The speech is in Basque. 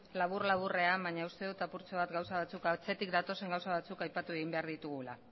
labur laburrean baina uste dut apurtxo bat atzetik datozen gauza batzuk aipatu egin behar ditugula